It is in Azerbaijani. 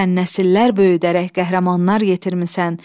Sən nəsillər böyüdərək qəhrəmanlar yetirmisən.